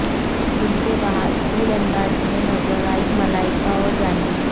gym के बाहर cool अंदाज़ में नज़र आईं मलाइका और जाह्नवी